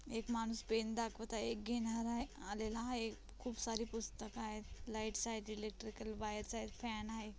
एक माणूस पेन दाखवत आहे एक घेणारा आहे आलेला आहे खूप सारी पुस्तक आहेत लाइट्स आहेत इलेक्ट्रिकल वायर्स आहेत फॅन आहे.